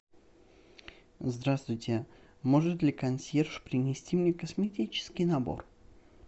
здравствуйте может ли консьерж принести мне косметический набор